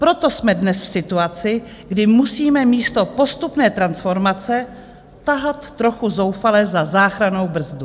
Proto jsme dnes v situaci, kdy musíme místo postupné transformace tahat trochu zoufale za záchrannou brzdu.